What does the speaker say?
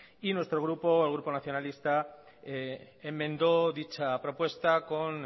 y nuestro grupo el grupo nacionalista enmendó dicha propuesta con